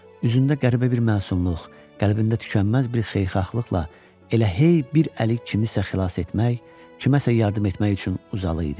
Üzündə qəribə bir məsumluq, qəlbində tükənməz bir xeyirxahlıqla elə hey bir əli kimsəni xilas etmək, kimsəyə yardım etmək üçün uzalı idi.